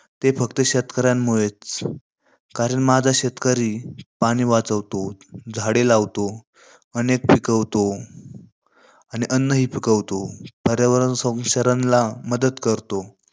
ते फक्त शेतकऱ्यांमुळेचं. कारण माझा शेतकरी पाणी वाचवतो, झाडे लावतो, अनेक पिकवतो आणि अन्नही पिकवतो आणि पर्यावरण क्षरणला मदत करतो.